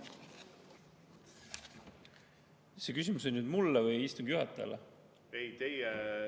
See küsimus on nüüd mulle või istungi juhatajale?